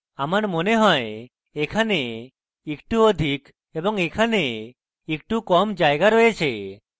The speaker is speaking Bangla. আমার মনে হয় এখানে একটু অধিক এবং এখানে একটু কম জায়গা রয়েছে